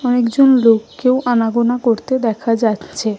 অনেকজন লোক কে ও আনাগোনা করতে দেখা যাচ্ছে ।